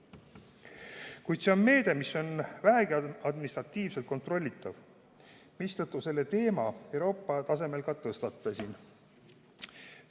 Kuid see on meede, mis on vähegi administratiivselt kontrollitav, mistõttu selle teema Euroopa tasemel ka tõstatasin.